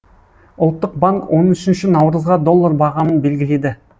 ұлттық банк он үшінші наурызға доллар бағамын белгіледі